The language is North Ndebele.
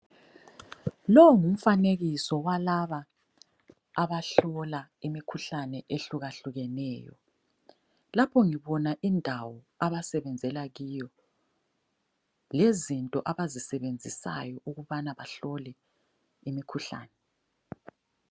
Lo ngumfanekiso walaba abahlola imikhuhlane ehlukahlukeneyo. Lapho ngibona indawo abasebenzela kiyo, lezinto abazisebenzisayo ukubana bahlole imikhuhlane.